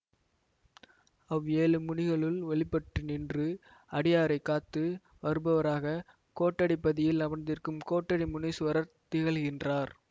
அவ் ஏழு முனிகளுள் வெளி பட்டு நின்று அடியாரைக் காத்து வருபவராக கோட்டடிப் பதியில் அமர்ந்திருக்கும் கோட்டடி முனீசுவரர் திகழ்கின்றார்